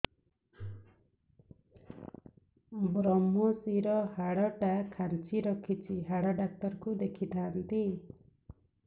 ଵ୍ରମଶିର ହାଡ଼ ଟା ଖାନ୍ଚି ରଖିଛି ହାଡ଼ ଡାକ୍ତର କୁ ଦେଖିଥାନ୍ତି